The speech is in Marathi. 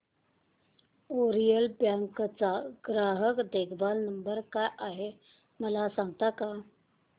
ओरिएंटल बँक चा ग्राहक देखभाल नंबर काय आहे मला सांगता का